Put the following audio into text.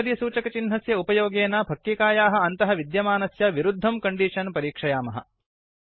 आश्चर्यसूचकचिह्नस्य उपयोगेन फक्किकायाः अन्तः विद्यमानस्य विरुद्धं कण्डीषन् परीक्षयामः